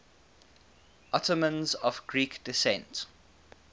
ottomans of greek descent